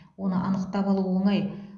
оны анықтап алу оңай